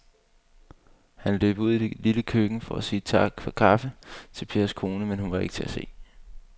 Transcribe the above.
Han løb ud i det lille køkken for at sige tak for kaffe til Pers kone, men hun var ikke til at se.